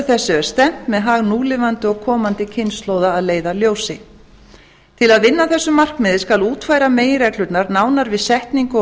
þessu er stefnt með hag núlifandi og komandi kynslóða að leiðarljósi til að vinna að þessu markmiði skal útfæra meginreglurnar nánar við setningu og